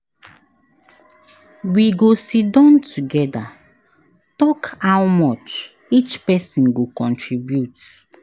We go siddon togeda tok how much each pesin go contribute.